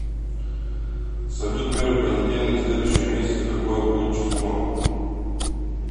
салют первый понедельник следующего месяца какое будет число